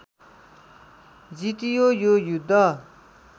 जितियो यो युद्ध